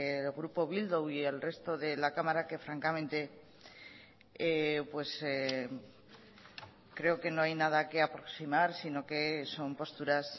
el grupo bildu y el resto de la cámara que francamente creo que no hay nada que aproximar sino que son posturas